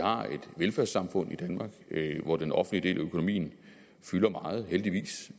har et velfærdssamfund i danmark hvor den offentlige del af økonomien fylder meget heldigvis